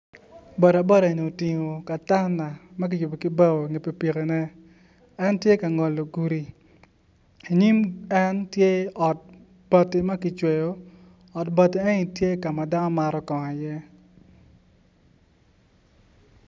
Boda boda ni otingo katana ma kiyubo ki bao en tye la ngolo gudi inyim en tye ot bati ma kicweyo ot bati eni tye ka ma dano mato kongo i iye